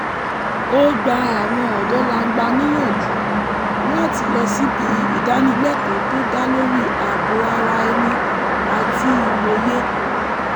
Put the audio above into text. ó gba àwọn ọ̀dọ́langba níyànjú láti lọ síbi ìdánilẹ́kọ̀ọ́ tó dá lórí ààbò ara-ẹni àti ìmòye